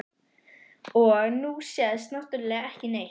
Og nú sést náttúrlega ekki neitt.